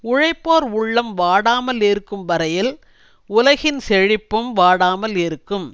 உழைப்போர் உள்ளம் வாடாமல் இருக்கும் வரையில் உலகின் செழிப்பும் வாடாமல் இருக்கும்